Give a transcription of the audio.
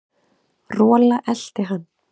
Rola elti hann.